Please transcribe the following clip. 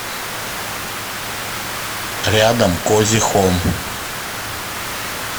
рядом кози хом